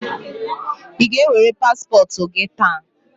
Ị ga-ewere paspọtụ gị taa?